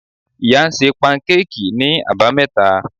Iya ń sẹ pankéèkí ni abámeta